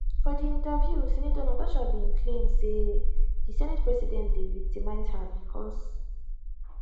for di interview senator nastaha bin claim say di senate president dey victimise her bicos